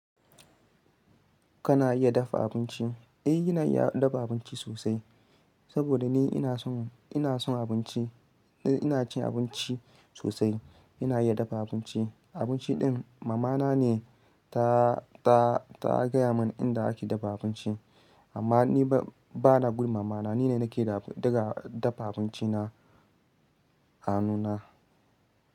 Kana iya dafa abinci? Eh, ina iya dafa abinci sosai. Saboda ni ina son, ina son abinci. Ina cin abinci sosai. Ina iya dafa abinci. Abinci din mamana ne ta, ta, ta gaya mun inda ake dafa abinci. Amma ni ba, ba na bi mamana, ni ne nake daga dafa abinci na a nuna.